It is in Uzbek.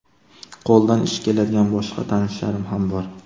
Qo‘lidan ish keladigan boshqa tanishlarim ham bor.